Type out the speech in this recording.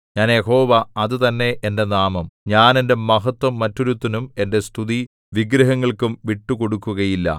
ഞാൻ യഹോവ അത് തന്നെ എന്റെ നാമം ഞാൻ എന്റെ മഹത്ത്വം മറ്റൊരുത്തനും എന്റെ സ്തുതി വിഗ്രഹങ്ങൾക്കും വിട്ടുകൊടുക്കുകയില്ല